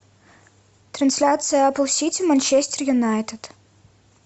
трансляция апл сити манчестер юнайтед